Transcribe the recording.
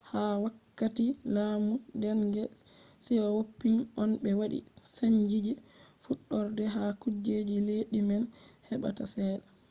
ha wakkati laamu deng siyawoping on ɓe waɗi chanji je fuɗɗorde ha kujeji leddi man heɓata cede